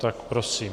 Tak prosím.